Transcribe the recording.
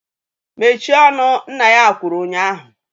Mechie ọnụ! Nna ya kwuru ụnyaahụ!